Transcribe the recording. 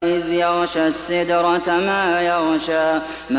إِذْ يَغْشَى السِّدْرَةَ مَا يَغْشَىٰ